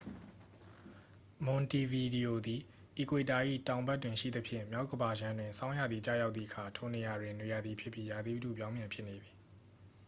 မွန်တီဗီဒီယိုသည် အီကွေတာ၏ တောင်ဘက်တွင်ရှိသဖြင့် မြောက်ကမ္ဘာခြမ်းတွင် ဆောင်းရာသီကျရောက်သည့်အခါ ထိုနေရာတွင် နွေရာသီဖြစ်ပြီး ရာသီဥတုပြောင်းပြန်ဖြစ်နေသည်